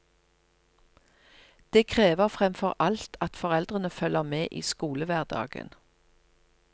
Det krever fremfor alt at foreldrene følger med i skolehverdagen.